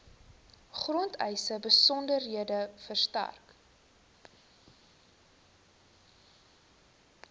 grondeise besonderhede verstrek